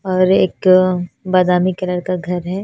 और एक बादामी कलर का घर है।